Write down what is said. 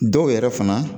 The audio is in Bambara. Dɔw yɛrɛ fana